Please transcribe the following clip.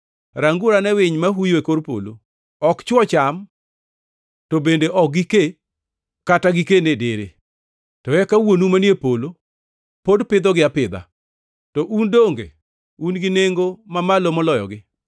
Ranguru ane winy ma huyo e kor polo. Ok chwo cham to bende ok gikee kata giken e dere, to eka Wuonu manie polo pod pidhogi apidha. To un donge un gi nengo mamalo moloyogi?